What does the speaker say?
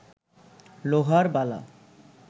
লোহার বালা